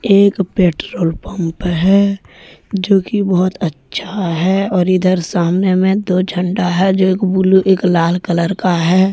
एक petrol pump है जोकि बहुत अच्छा है और इधर सामने में दो झंडा है जो एक ब्ल्यू एक लाल कलर का है।